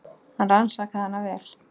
Hann rannsakaði hana vel.